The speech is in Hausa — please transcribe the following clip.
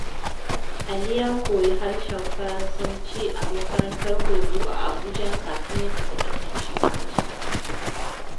Ali ya koyi harshen Faransanci a makarantar horo a Abuja kafin ya tafi kasashen waje.